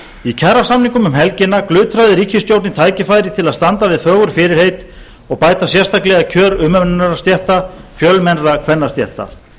í kjarasamningum um helgina glutraði ríkisstjórnin niður tækifæri til að standa við fögur fyrirheit og bæta sérstaklega kjör umönnunarstétta fjölmennra kvennastétta